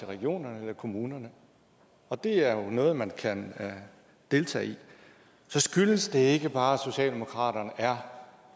regionerne eller kommunerne og det er noget man kan deltage i så skyldes det ikke bare at socialdemokraterne er